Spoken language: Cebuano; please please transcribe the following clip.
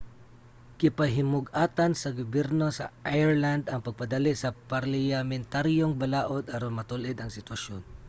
gipahimug-atan sa gobyerno sa ireland ang pagpadali sa parliyamentaryong balaod aron matul-id ang sitwasyon